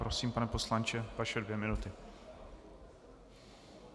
Prosím, pane poslanče, vaše dvě minuty.